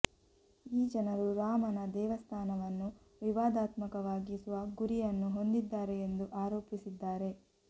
ಈ ಜನರು ರಾಮನ ದೇವಸ್ಥಾನವನ್ನು ವಿವಾದಾತ್ಮಕವಾಗಿಸುವ ಗುರಿಯನ್ನು ಹೊಂದಿದ್ದಾರೆ ಎಂದು ಆರೋಪಿಸಿದ್ದಾರೆ